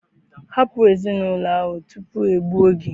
Hapụ Ezinụlọ ahụ tupu e gbuo gị!